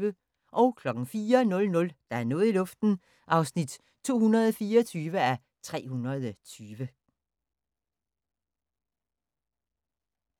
04:00: Der er noget i luften (224:320)